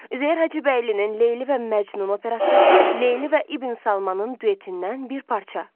Üzeyir Hacıbəylinin Leyli və Məcnun operası, Leyli və İbn Salmanın duetindən bir parça.